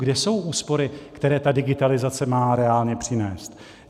Kde jsou úspory, které ta digitalizace má reálně přinést?